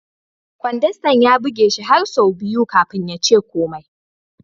Kwandastan ya buge shi har sau biyu kafin ya ce komai.